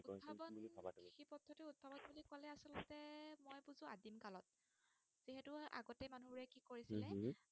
কৰিছিলেউম হম